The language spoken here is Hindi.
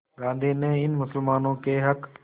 गांधी ने इन मुसलमानों के हक़